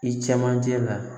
I cɛ manje la